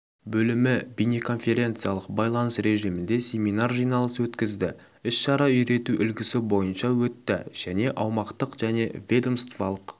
бөлімі бейнеконференциялық байланыс режимінде семинар-жиналыс өткізді іс-шара үйрету үлгісі бойынша өтті және аумақтық және ведомстволық